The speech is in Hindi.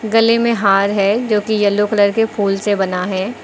गले में हार है जो की येलो कलर के फूल से बना है।